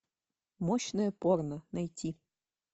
мощное порно найти